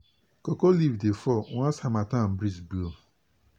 cocoa leaf dey fall once harmattan breeze blow.